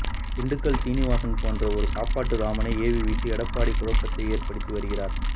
திண்டுக்கல் சீனிவாசன் போன்ற ஒரு சாப்பாட்டு ராமனை ஏவிவிட்டு எடப்பாடி குழப்பத்தை ஏற்படுத்தி வருகிறார்